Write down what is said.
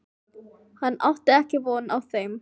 Hún átti ekki von á þeim.